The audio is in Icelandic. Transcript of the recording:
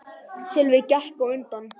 Sölvi gekk á undan.